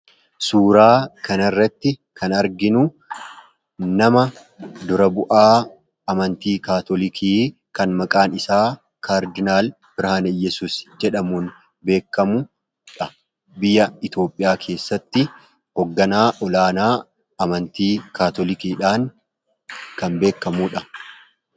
suuraa kana irratti kan arginu nama dura bu'aa amantii kaatolikii kan maqaan isaa kaardinaal birhaan yesus jedhamuun beekamuudha biyya itoophiyaa keessatti hoogganaa olaanaa amantii kaatolikiidhaan kan beekamuudha